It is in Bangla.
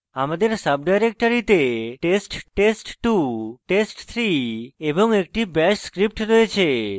আমাদের সাব ডাইরেক্টরীতে test test2 test3 এবং একটি bash script রয়েছে